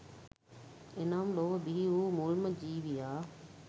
එනම් ලොව බිහි වූ මුල්ම ජීවියා